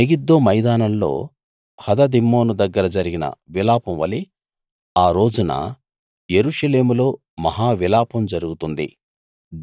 Megiddo మైదానంలో హదదిమ్మోను దగ్గర జరిగిన విలాపం వలె ఆ రోజున యెరూషలేములో మహా విలాపం జరుగుతుంది